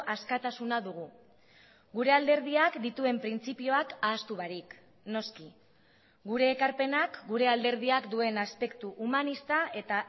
askatasuna dugu gure alderdiak dituen printzipioak ahaztu barik noski gure ekarpenak gure alderdiak duen aspektu humanista eta